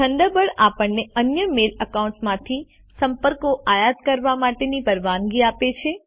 Thunderbird આપણને અન્ય mail accounts માંથી સંપર્કો આયાત કરવા માટેની પરવાનગી આપે છે